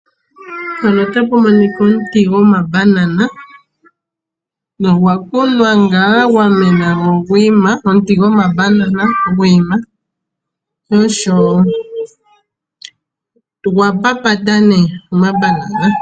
Mpano otapu monika omuti gwomaBanana. Ogwa kunwa ngaa gwamena gwo ogwi ima. Omuti gwomabanana gwiima sho osho ogwa papata nee omaBanana.